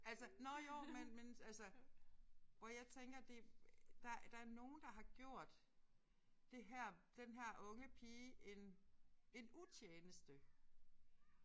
Altså nåh jo men men altså hvor jeg tænker det der er der er nogen der har gjort det her den her unge pige en en utjeneste